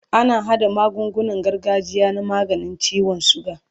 ana haɗa magungunan gargajiya na maganin ciwon sugar